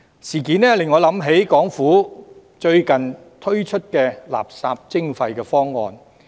事件令我想起港府最近推出的垃圾徵費方案。